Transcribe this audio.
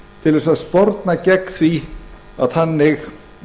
til þess að sporna gegn því að þannig